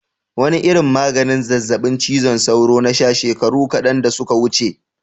Wane irin maganin zazzabin cizon sauro na sha shekaru kadan da suka wuce?